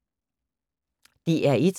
DR1